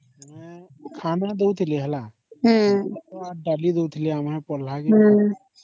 ଖାଇବା ପିଇବା ଦଉ ଥିଲେ ହେଲା